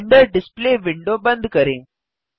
render display window बंद करें